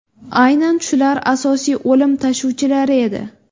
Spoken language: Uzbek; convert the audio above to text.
Aynan shular asosiy o‘lim tashuvchilari edi.